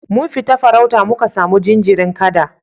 Mun fita farauta muka samu jinjirin kada